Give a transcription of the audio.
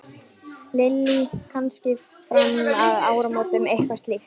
Lillý: Kannski fram að áramótum eitthvað slíkt?